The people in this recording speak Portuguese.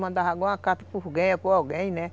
Mandava uma carta para alguém, né?